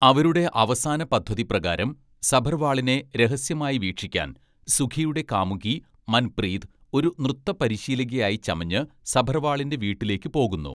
അവരുടെ അവസാന പദ്ധതി പ്രകാരം, സഭർവാളിനെ രഹസ്യമായി വീക്ഷിക്കാൻ സുഖിയുടെ കാമുകി മൻപ്രീത് ഒരു നൃത്ത പരിശീലകയായി ചമഞ്ഞ് സഭർവാളിൻ്റെ വീട്ടിലേക്ക് പോകുന്നു.